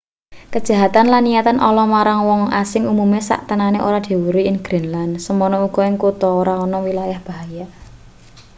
kejahatan lan niatan ala marang wong asing umume saktenane ora diweruhi ing greenland semono uga ing kutha ora ana wilayah bahaya